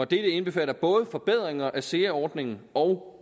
dette indbefatter både forbedringer af sea ordningen og